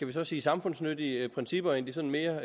vi så sige samfundsnyttige principper end de sådan mere